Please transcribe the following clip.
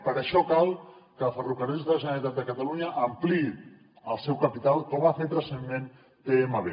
per això cal que ferrocarrils de la generalitat de catalunya ampliï el seu capital com ha fet recentment tmb